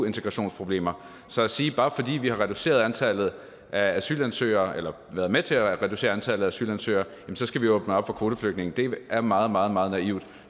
integrationsproblemer så at sige at bare fordi vi har reduceret antallet af asylansøgere eller været med til at reducere antallet af asylansøgere skal vi åbne op for kvoteflygtninge er meget meget meget naivt